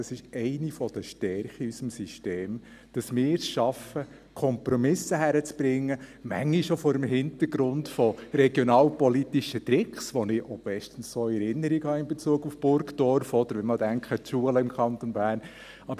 Das ist eine der Stärken in unserem System, dass wir es schaffen, Kompromisse hinzukriegen, manchmal auch vor dem Hintergrund von regionalpolitischen Tricks, die ich auch bestens so in Erinnerung habe in Bezug auf Burgdorf, oder wenn wir einmal an die Schulen im Kanton Bern denken.